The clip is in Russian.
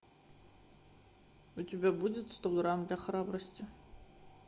у тебя будет сто грамм для храбрости